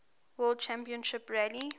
world rally championship